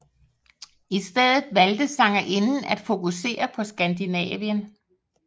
I stedet valgte sangerinden at fokusere på Skandinavien